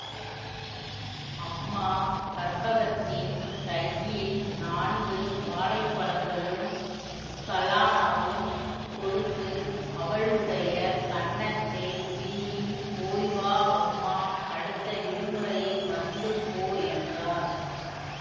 அம்மா கற்பகத்தின் கையில் நான்கு வாழைப் பழங்களும் கலாணாவும் கொடுத்து அவளுடைய கன்னத்தைக் கிள்ளி போய்வா அம்மா அடுத்த விடுமுறையில் வந்து போ என்றார்